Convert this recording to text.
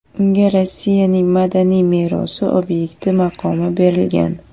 Unga Rossiyaning madaniy merosi obyekti maqomi berilgan.